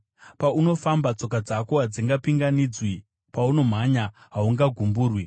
Paunofamba, tsoka dzako hadzingapinganidzwi, paunomhanya, haungagumburwi.